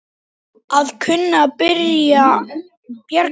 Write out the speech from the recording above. Að kunna að bjarga sér!